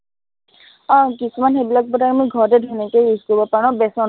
আহ কিছুমান সেইবিলাক product আমি ঘৰতে ধুনীয়াকে use কৰিব পাৰো ন বেচনত